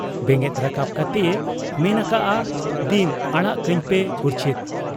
ᱵᱮᱸᱜᱮᱫ ᱨᱟᱠᱟᱵ ᱠᱟᱛᱮᱭ ᱢᱮᱱ ᱟᱠᱟᱜ ᱟ, 'ᱫᱤᱢ ᱟᱲᱟᱜ ᱠᱟᱹᱧᱯᱮ ᱩᱨᱪᱷᱤᱛ ᱾